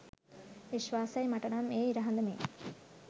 විශ්වාසයි මට නම් එය ඉර හඳ මෙන්.